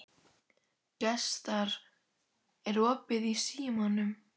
Gestar, er opið í Símanum?